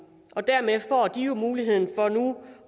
og dermed får de jo muligheden for nu